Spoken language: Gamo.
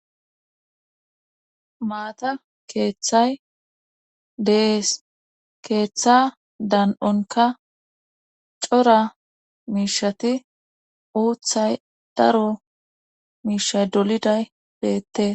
maata keeththay dees keeththa dan7onka cora miishati uuththay daro miisha doliday beette